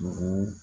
Dugu